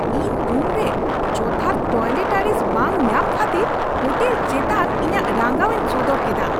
ᱤᱧ ᱨᱩᱢ ᱨᱮ ᱡᱚᱛᱷᱟᱛ ᱴᱚᱭᱞᱮᱴᱟᱨᱤᱡ ᱵᱟᱝ ᱧᱟᱢ ᱠᱷᱟᱹᱛᱤᱨ ᱦᱳᱴᱮᱞ ᱪᱮᱛᱟᱱ ᱤᱧᱟᱹᱜ ᱨᱟᱸᱜᱟᱣ ᱤᱧ ᱥᱚᱫᱚᱨ ᱠᱮᱫᱟ ᱾